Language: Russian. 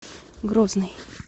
грозный